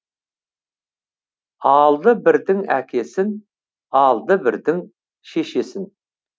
алды бірдің әкесін алды бірдің шешесін